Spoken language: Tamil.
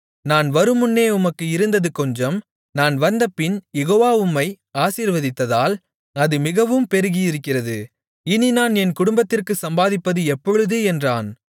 நான் வருமுன்னே உமக்கு இருந்தது கொஞ்சம் நான் வந்தபின் யெகோவா உம்மை ஆசீர்வதித்ததால் அது மிகவும் பெருகியிருக்கிறது இனி நான் என் குடும்பத்திற்குச் சம்பாதிப்பது எப்பொழுது என்றான்